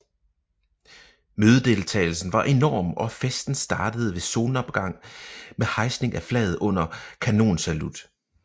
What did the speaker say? Mødedeltagelsen var enorm og festen startede ved solopgang med hejsning af flaget under kanonsalut